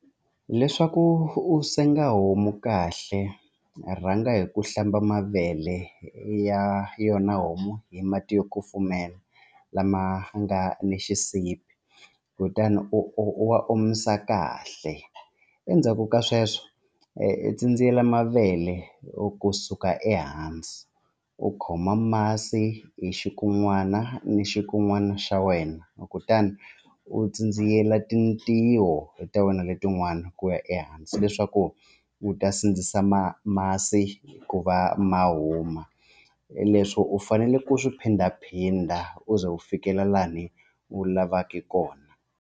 Leswaku u senga homu kahle rhanga hi ku hlamba mavele ya yona homu hi mati yo kufumela lama nga ni xisibi kutani u wa omisa kahle endzhaku ka sweswo tsindziyela mavele kusuka ehansi u khoma masi hi xikun'wana ni xikun'wana xa wena kutani u tsandziyels tintiho ta wena letin'wana ku ya ehansi leswaku u ta sindzisa ma masi ku va ma huma leswo u fanele ku swi phindaphinda u ze u fikelela laha ni u lavaka kona.